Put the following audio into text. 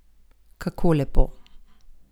Kako lepo.